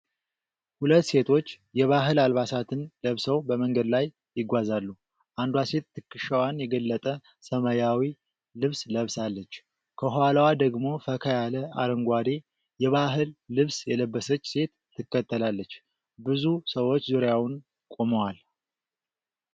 ሁለት ሴቶች የባህል አልባሳትን ለብሰው በመንገድ ላይ ይጓዛሉ። አንዷ ሴት ትከሻዋን የገለጠ ሰማያዊ ልብስ ለብሳለች። ከኋላዋ ደግሞ ፈካ ያለ አረንጓዴ የባህል ልብስ የለበሰች ሴት ትከተላለች። ብዙ ሰዎች ዙሪያውን ቆመዋል።